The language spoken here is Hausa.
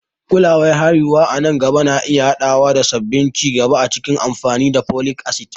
Kulawar haihuwa a nan gaba na iya haɗawa da sabbin ci gaba a cikin amfani da folic acid.